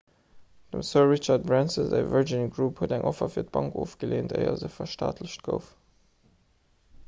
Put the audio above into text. dem sir richard branson säi virgin group huet eng offer fir d'bank ofgeleent éier se verstaatlecht gouf